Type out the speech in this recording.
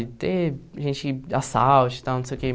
De ter gente, assalto e tal, não sei o quê.